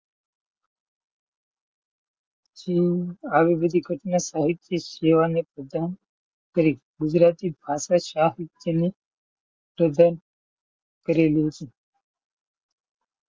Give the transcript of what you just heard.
શું આવી બધી ઘટના સાહીત્ય સેવાં ને પ્રદાન કરી ગુજરાતી ભાષા સાહિત્ય ને પ્રદાન કરી.